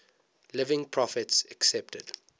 living prophets accepted